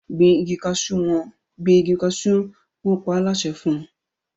Gbìn ìgi cashew! wọn pa á láṣẹ fún